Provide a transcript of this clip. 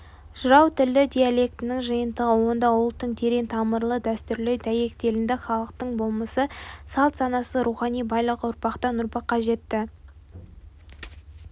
жырау тілдік диалектінің жиынтығы онда ұлттың терең тамырлы дәстүрі дәйектелінді халықтың болмысы салт-санасы рухани байлығы ұрпақтан ұрпаққа жетті